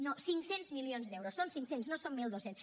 no cinc cents milions d’euros són cinc cents no són mil dos cents